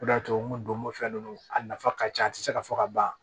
O de y'a to n ko donko fɛn ninnu a nafa ka ca a tɛ se ka fɔ ka ban